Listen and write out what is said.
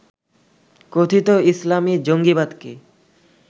কথিত ইসলামী জঙ্গিবাদকে